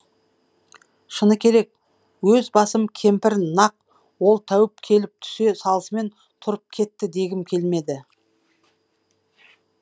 шыны керек өз басым кемпір нақ ол тәуіп келіп түсе салысымен тұрып кетті дегім келмеді